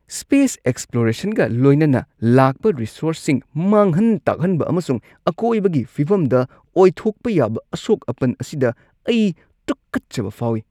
Space ꯑꯦꯛꯁꯄ꯭ꯂꯣꯔꯦꯁꯟꯒ ꯂꯣꯏꯅꯅ ꯂꯥꯛꯄ ꯔꯤꯁꯣꯔꯁꯁꯤꯡ ꯃꯥꯡꯍꯟ-ꯇꯥꯛꯍꯟꯕ ꯑꯃꯁꯨꯡ ꯑꯀꯣꯏꯕꯒꯤ ꯐꯤꯚꯝꯗ ꯑꯣꯏꯊꯣꯛꯄ ꯌꯥꯕ ꯑꯁꯣꯛ-ꯑꯄꯟ ꯑꯁꯤꯗ ꯑꯩ ꯇꯨꯀꯠꯆꯕ ꯐꯥꯎꯏ꯫